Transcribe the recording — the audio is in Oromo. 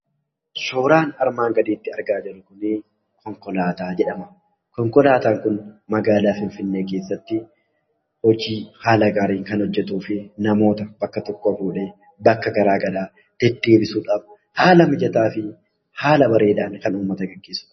Suuraan armaan gadiitti argaa jirru kunii konkolaataa jedhama. Konkolaataan kun, magaalaa Finfinnee keessatti hojii haala gaariin kan hojjetuu fi namoota bakka tokkoo fuudhee bakka garaagaraa deddeebisuudhaan haala mijataa fi haala bareedaan kan ummata geggeessuudha.